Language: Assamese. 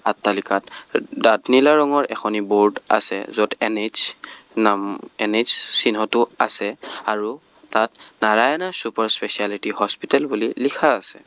আট্টালিকাত ডাত নীলা ৰঙৰ এখনি বোৰ্ড আছে য'ত এন_এইচ নাম এন_এইচ চিহ্নটো আছে আৰু তাত নাৰায়ানা ছুপাৰ স্পেচিয়ালিটি বুলি লিখা আছে।